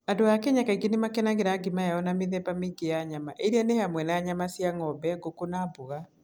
Andũ a Kenya kaingĩ nĩ makenagĩra ugali yao na mĩthemba mĩingĩ ya nyama cia nyama, iria nĩ hamwe na nyama cia ng'ombe, ngũkũ, na mboga.